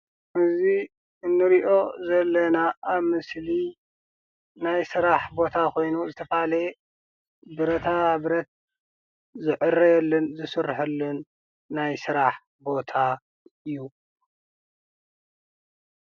እዚ እንርኦ ዘለና ኣብ ምስሊ ናይ ስራሕ ቦታ ኮይኑ ዝተፈላለየ ብረታብረት ዝዕረየሉን ዝስረሓሉን ናይ ስራሕ ቦታ እዩ።